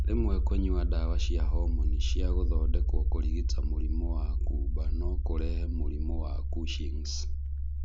Rĩmwe kúnywa ndawa cia homoni cia gũthondekwo kũrigita mũrimũ wa kuumba no kũrehe mũrimũ wa Cushing's.